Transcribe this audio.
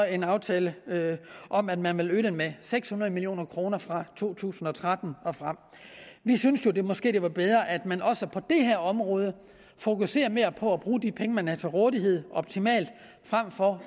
en aftale om at man vil øge det med seks hundrede million kroner fra to tusind og tretten og frem vi synes jo det måske er bedre at man også på det her område fokuserer mere på at bruge de penge man har til rådighed optimalt frem for